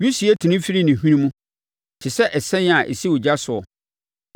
Wisie tene firi ne hwene mu te sɛ ɛsɛn a ɛsi ogya soɔ.